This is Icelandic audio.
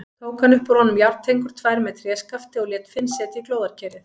Tók hann upp úr honum járntengur tvær með tréskafti og lét Finn setja í glóðarkerið.